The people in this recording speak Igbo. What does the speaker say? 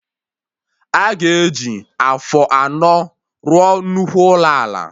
Aga eji afọ anọ rụọ nnukwu ụlọ ala